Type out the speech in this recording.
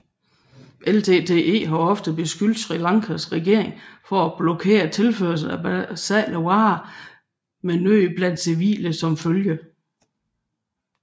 LTTE har ofte beskyldt Sri Lankas regering for at blokere tilførslen af basale varer med nød blandt civile som følge